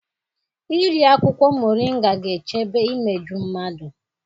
Iri akwụkwọ mọrịnga ga-echebe imeju mmadụ.